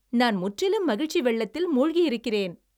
நான் முற்றிலும் மகிழ்ச்சி வெள்ளத்தில் மூழ்கியிருக்கிறேன்!